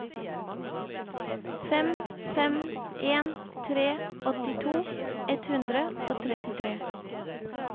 fem fem en tre åttito ett hundre og trettitre